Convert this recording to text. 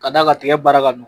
Ka da ka kile baara ka